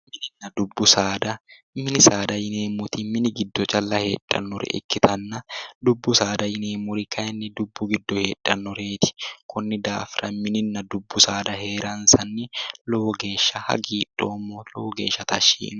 Mininna dubbu saada ,mini saada yineemmoti mini giddo calla heedhanore Ikkittanna dubbu saada yineemmori kayinni dubbu giddo heedhanoreti konni daafira mininna dubbu saada heerransanni lowo geeshsha hagiidhoommo lowo geeshsha tashshi yiinoe".